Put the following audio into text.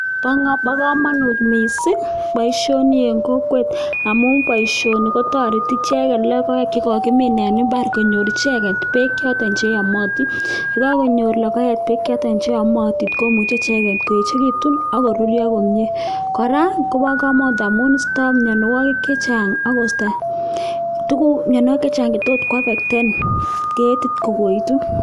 Bo kamanut mising boisioni eng kokwet amun boisioni kotoreti icheket logoek che kokimin eng imbaar konyor icheket beek choto che yamatin, ye kakonyor logoek beek choto che yamatin komuchei icheket koechekitun ak koruryo komnye. Kora kobo kamanut amun istoi mianwokik chechang ako isto mianwokik chechang che tos afekten ketit kokoitu.